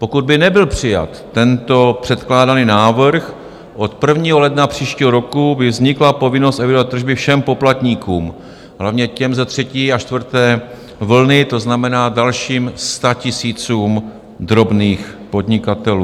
Pokud by nebyl přijat tento předkládaný návrh, od 1. ledna příštího roku by vznikla povinnost evidovat tržby všem poplatníkům, hlavně těm z třetí a čtvrté vlny, to znamená dalším statisícům drobných podnikatelů.